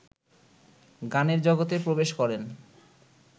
গানের জগতে প্রবেশ করেন